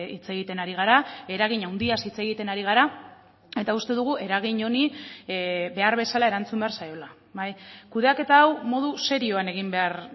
hitz egiten ari gara eragin handiaz hitz egiten ari gara eta uste dugu eragin honi behar bezala erantzun behar zaiola kudeaketa hau modu serioan egin behar